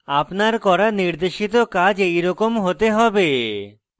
আপনার করা নির্দেশিত কাজ এরকম হতে হবে